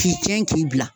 K'i cɛn k'i bila